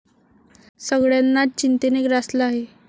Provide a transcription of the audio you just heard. सगळ्यांनाच चिंतेने ग्रासलं आहे.